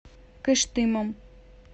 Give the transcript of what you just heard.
кыштымом